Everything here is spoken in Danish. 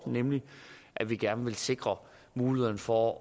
nemlig at vi gerne vil sikre mulighederne for